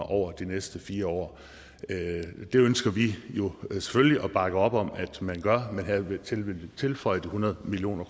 over de næste fire år det ønsker vi jo selvfølgelig at bakke op om at man gør men hertil vil vi tilføje de hundrede million